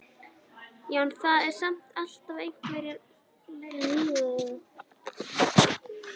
Já, en það eru samt alltaf einhverjar leifar.